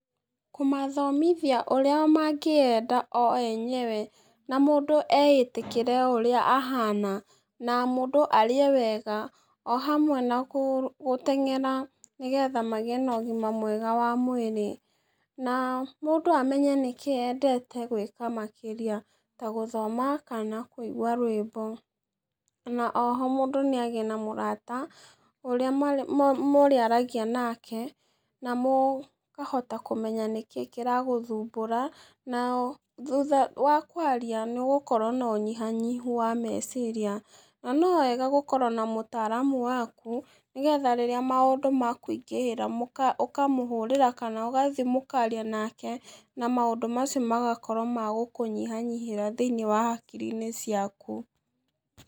Kũmathomithia ũrĩa mangĩyenda o enyewe, na mũndũ eĩtĩkĩre o ũrĩa ahana, na mũndũ arĩe wega, ohamwe nagũ gũteng'era, nĩgetha magĩe na ũgima mwega wa mwĩrĩ, na mũndũ amenye nĩkĩ endete gwĩka makĩria, ta gũthoma kana kũigua rwĩmbo, na oho mũndũ nĩagĩe na mũrata ũrĩa me ma marĩaragia nake, na mũ kahota kũmenya nĩkĩ kĩragũthumbũra, na thutha wa kwaria nĩũgũkora nonyihanyihu wa meciria, na no wega gũkorwo na mũtaramu waku, nĩgetha rĩrĩa maũndũ makũingĩhĩra mũka ũkamũhũrĩra kana ũgathi mũkaria nake, an maũndũ macio magakorwo magũkũnyihanyihĩra thĩ-inĩ wa hakiri-inĩ ciaku.